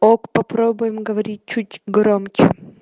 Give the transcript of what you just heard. ок попробуем говорить чуть громче